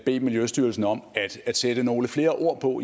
bede miljøstyrelsen om at sætte nogle flere ord på